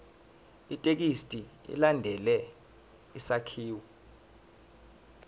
ithekisthi ilandele isakhiwo